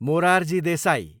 Morarji Desai